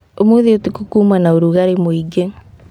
Ũmũthĩ utukũ kuuma na ũrugarĩ mũingĩ